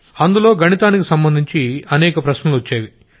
అందులో గణితానికి సంబంధించి చాలా ప్రశ్నలొచ్చేవి